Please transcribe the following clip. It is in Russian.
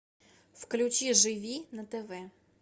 включи живи на тв